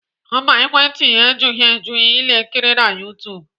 Mba, ekwentị ya ejughị eju ile nkiri na YouTube